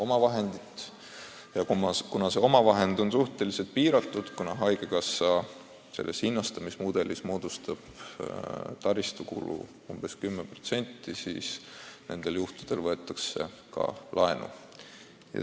Paraku on nn omavahend suhteliselt piiratud, sest haigekassa hinnastamismudelis võib taristukulu moodustada umbes 10%, ja nendel juhtudel võetakse ka laenu.